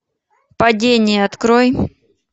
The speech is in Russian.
падение открой